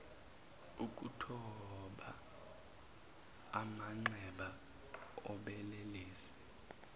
ukuthoba amanxeba obelelesi